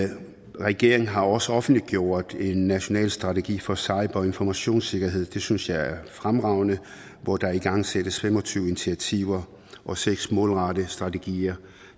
regeringen har også offentliggjort en national strategi for cyber og informationssikkerhed det synes jeg er fremragende hvor der igangsættes fem og tyve initiativer og seks målrettede strategier